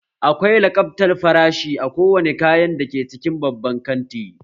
Akwai lakabtar farashi a kowane kayan da ke cikin babban kanti